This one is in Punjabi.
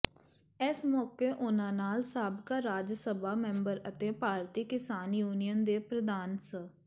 ਇਸ ਮੌਕੇ ਉਨਾਂ ਨਾਲ ਸਾਬਕਾ ਰਾਜ ਸਭਾ ਮੈਂਬਰ ਅਤੇ ਭਾਰਤੀ ਕਿਸਾਨ ਯੂਨੀਅਨ ਦੇ ਪ੍ਰਧਾਨ ਸ